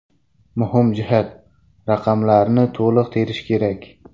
Muhim jihat: raqamlarni to‘liq terish kerak.